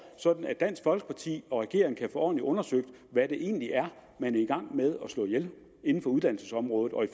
sådan at dansk folkeparti og regeringen kan få ordentligt undersøgt hvad det egentlig er man er i gang med at slå ihjel inden for uddannelsesområdet og i